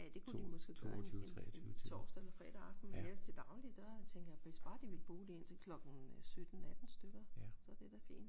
Ja kunne de måske gøre en en torsdag eller fredag aften men ellers til daglig der tænker jeg hvis bare de vil bo der indtil klokken 17 18 stykker så er det da fint